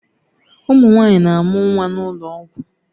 Ụmụ nwanyị na-amụ nwa n'ụlọ ọgwụ